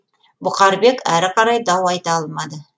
бұқарбек әрі қарай дау айта алмады